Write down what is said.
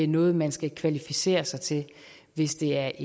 noget man skal kvalificere sig til hvis det er